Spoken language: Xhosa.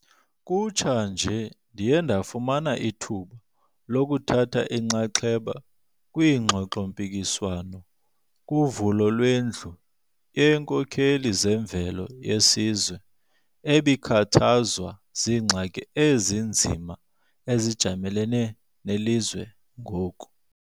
Kutsha nje, ndiye ndafumana ithuba lokuthatha inxaxheba kwingxoxo-mpikiswano kuvulo lweNdlu yeeNkokheli zeMveli yeSizwe, ebikhathazwa ziingxaki ezinzima ezijamelene nelizwe ngoku.